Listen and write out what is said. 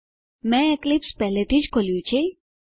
મેં એક્લીપ્સ પહેલાથી જ ખોલ્યું છે